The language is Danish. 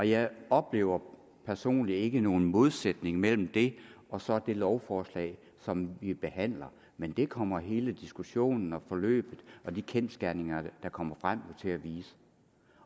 jeg oplever personligt ikke nogen modsætning mellem det og så det lovforslag som vi behandler men det kommer hele diskussionen og forløbet og de kendsgerninger der kommer frem jo til at vise